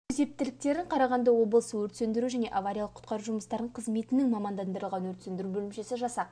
өз ептіліктерін қарағанды облысы өрт сөндіру және авариялық құтқару жұмыстары қызметінің мамандандырылған өрт сөндіру бөлімшесі жасақ